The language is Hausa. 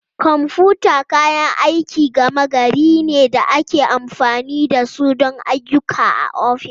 Kwamfuta kayan aikin gama gari ne da ake amfani da su don ayyuka a ofis.